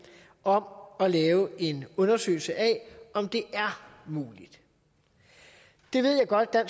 om at lave en undersøgelse af om det er muligt det ved jeg godt at